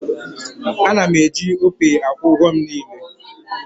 A na m eji Opay akwụ ụgwọ m niile